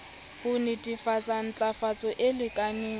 ho netefatsa ntlafatso e lekaneng